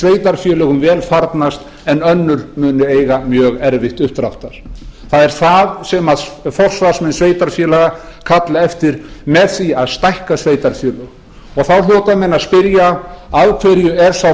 sveitarfélögum vel farnast en önnur munu eiga mjög erfitt uppdráttar það er það sem forsvarsmenn sveitarfélaga kalla eftir með því að stækka sveitarfélögin þá hljóta menn að spyrja af hverju er sá